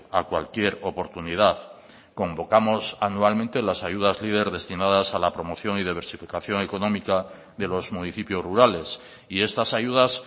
a cualquier oportunidad convocamos anualmente las ayudas leader destinadas a la promoción y diversificación económica de los municipios rurales y estas ayudas